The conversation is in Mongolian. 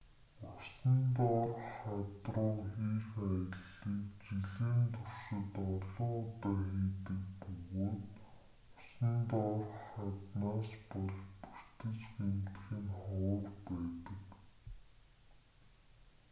усан доорх хад руу хийх аяллыг жилийн туршид олон удаа хийдэг бөгөөд усан доорх хаднаас болж бэртэж гэмтэх нь ховор байдаг